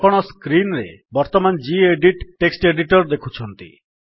ଆପଣ ସ୍କ୍ରୀନ୍ ରେ ବର୍ତ୍ତମାନ ଗେଡିଟ୍ ଟେକ୍ସଟ୍ ଏଡିଟର୍ ଦେଖୁଛନ୍ତି